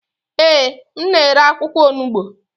Ee, m na-ere akwụkwọ onugbo.